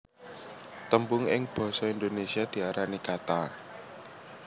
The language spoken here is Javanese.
Tembung ing basa Indonésia diarani kata